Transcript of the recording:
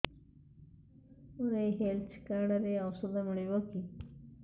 ମୋର ଏଇ health card ରେ ଔଷଧ ମିଳିବ କି